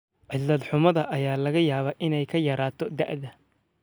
Cilad-xumada ayaa laga yaabaa inay ka yaraato da'da.